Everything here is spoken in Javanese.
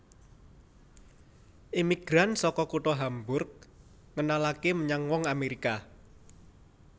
Imigran saka kutha Hamburg ngenalaké menyang wong Amèrika